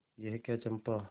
यह क्या चंपा